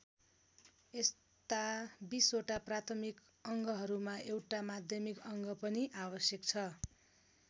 यस्ता २० वटा प्राथमिक अङ्गहरूमा एउटा माध्यमिक अङ्ग पनि आवश्यक छ।